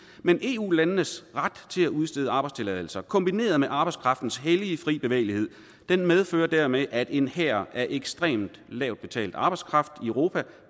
men eu landenes ret til at udstede arbejdstilladelser kombineret med arbejdskraftens hellige fri bevægelighed medfører dermed at en hær af ekstremt lavt betalt arbejdskraft i europa